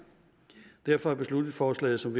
derfor er beslutningsforslaget som